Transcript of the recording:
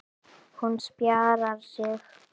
Hún spjarar sig.